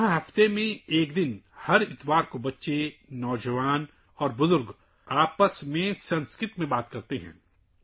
یہاں ہفتے میں ایک بار، ہر اتوار، بچے، نوجوان اور بزرگ آپس میں سنسکرت میں گفتگو کرتے ہیں